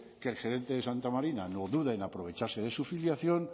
que el gerente de santa marina no duda en aprovecharse de su filiación